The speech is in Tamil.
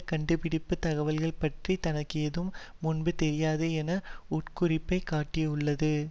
கண்டுபிடிப்புத் தகவல்கள் பற்றி தனக்கு ஏதும் முன்பு தெரியாது என்ற உட்குறிப்பை காட்டியுள்ளது